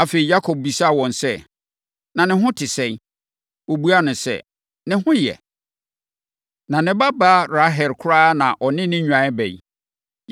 Afei, Yakob bisaa wɔn sɛ, “Na ne ho te sɛn?” Wɔbuaa no sɛ, “Ne ho yɛ. Na ne babaa Rahel koraa na ɔne ne nnwan reba yi.”